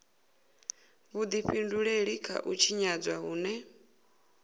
vhudifhinduleli kha u tshinyadzwa hune